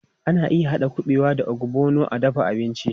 Ana iya haɗa kuɓewa da ogbono a dafa abinci.